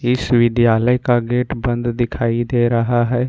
इस विद्यालय का गेट बंद दिखाई दे रहा है।